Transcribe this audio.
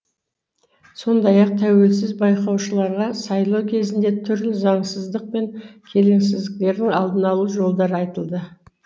сондай ақ тәуелсіз байқаушыларға сайлау кезінде түрлі заңсыздық пен келеңсіздіктердің алдын алу жолдары айтылды